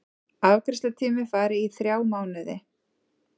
Afgreiðslutími fari í þrjá mánuði